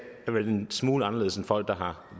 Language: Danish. er vel en smule anderledes er folk der har